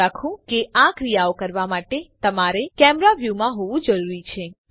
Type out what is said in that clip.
યાદ રાખો કે આ ક્રિયાઓ કરવા માટે તમારે કેમેરા વ્યુમાં હોવું જરૂરી છે